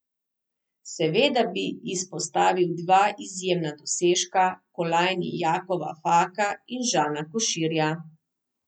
Seveda bi izpostavil dva izjemna dosežka, kolajni Jakova Faka in Žana Koširja.